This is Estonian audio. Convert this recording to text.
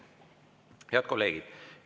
Head kolleegid!